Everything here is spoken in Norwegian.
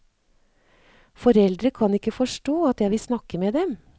Foreldre kan ikke forstå at jeg vil snakke med dem.